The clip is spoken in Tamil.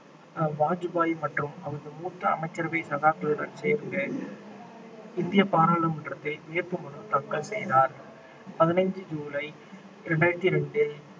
ஆஹ் வாஜ்பாய் மற்றும் அவரது மூத்த அமைச்சரவை சகாக்களுடன் சேர்ந்து இந்திய பாராளுமன்றத்தில் வேட்புமனு தாக்கல் செய்தார் பதினைந்து ஜூலை ரெண்டாயிரத்தி ரெண்டு